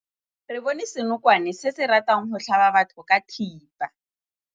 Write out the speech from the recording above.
Re bone senokwane se se ratang go tlhaba batho ka thipa.